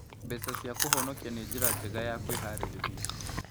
Mbeca cia kũhonokia nĩ njĩra njega ya kwĩharĩrĩria.